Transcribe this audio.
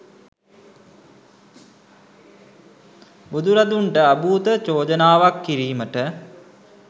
බුදුරදුන්ට අභූත චෝදනාවක් කිරීමට